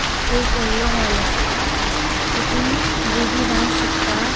एक वॉडलों हॉल असा तितुन बुर्गी डांस शिकता.